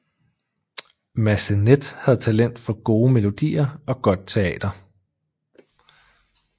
Massenet havde talent for gode melodier og godt teater